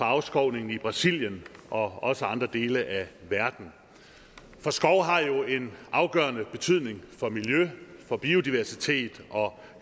afskovningen i brasilien og også i andre dele af verden for skov har jo en afgørende betydning for miljø biodiversitet og